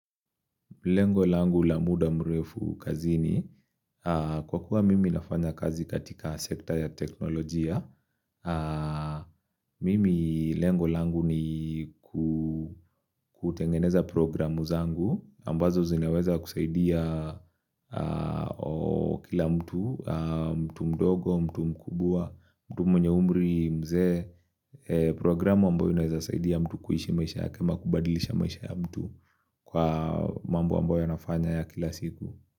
Lengo langu la muda mrefu kazini, kwa kuwa mimi nafanya kazi katika sekta ya teknolojia, mimi lengo langu ni kutengeneza programu zangu, ambazo zinaweza kusaidia kila mtu, mtu mdogo, mtu mkubwa, mtu mwenye umri mzee, programu ambayo inaweza saidia mtu kuishi maisha yake ama kubadilisha maisha ya mtu. Kwa mambo ambayo anafanya ya kila siku.